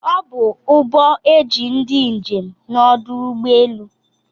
Ọbu uhbọ eji ndi njem n'ọdụ ụgbọ elu.